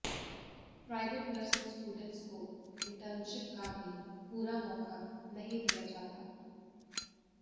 private nursing students को internship का भी पूरा मौका नहीं दिया जाता